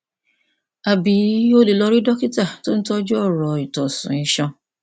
àbí o lè lọ rí dókítà tó ń tọjú ọràn ìtọsùn iṣan